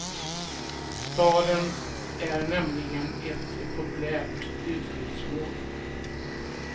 Staden är nämligen ett populärt utflyktsmål.